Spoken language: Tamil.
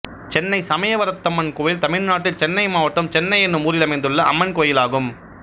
சென்னை சமயவரத்தம்மன் கோயில் தமிழ்நாட்டில் சென்னை மாவட்டம் சென்னை என்னும் ஊரில் அமைந்துள்ள அம்மன் கோயிலாகும்